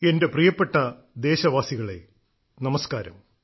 എന്റെ പ്രിയപ്പെട്ട ദേശവാസികളെ നമസ്കാരം